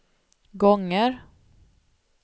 gånger